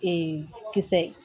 kisɛ